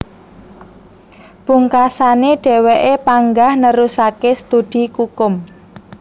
Pungkasané dhèwèké panggah nerusaké studi kukum